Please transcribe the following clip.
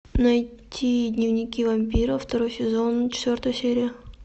найти дневники вампиров второй сезон четвертая серия